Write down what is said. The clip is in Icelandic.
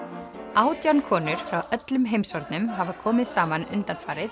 átján konur frá öllum heimshornum hafa komið saman undanfarið